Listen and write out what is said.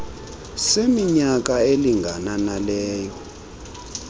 seminyaka elingana naleyo